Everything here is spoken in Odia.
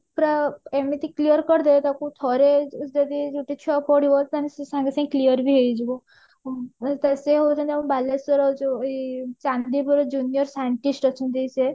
ପୁରା ଏମିତି clear କରି ଦେବେ ତାକୁ ଥରେ ଯଦି ଗୋଟେ ଛୁଆ ପଢିବ ତାର ସେ ସାଙ୍ଗେ ସାଙ୍ଗେ clear ବି ହେଇଯିବ ସିଏ ହେଉଛନ୍ତି ଆମ ବାଲେଶ୍ଵର ଯୋଉ ଚାନ୍ଦିପୁର junior scientist ଅଛନ୍ତି ସିଏ